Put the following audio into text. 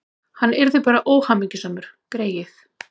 Hann yrði bara óhamingjusamur, greyið.